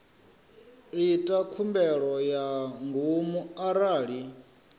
ita khumbelo ya ngomu arali